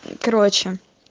короче